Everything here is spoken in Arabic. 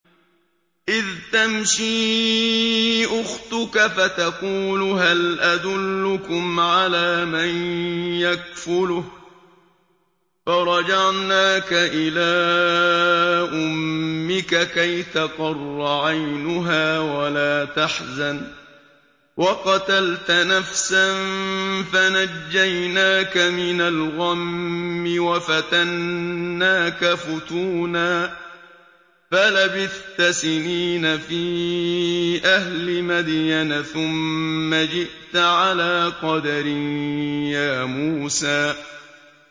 إِذْ تَمْشِي أُخْتُكَ فَتَقُولُ هَلْ أَدُلُّكُمْ عَلَىٰ مَن يَكْفُلُهُ ۖ فَرَجَعْنَاكَ إِلَىٰ أُمِّكَ كَيْ تَقَرَّ عَيْنُهَا وَلَا تَحْزَنَ ۚ وَقَتَلْتَ نَفْسًا فَنَجَّيْنَاكَ مِنَ الْغَمِّ وَفَتَنَّاكَ فُتُونًا ۚ فَلَبِثْتَ سِنِينَ فِي أَهْلِ مَدْيَنَ ثُمَّ جِئْتَ عَلَىٰ قَدَرٍ يَا مُوسَىٰ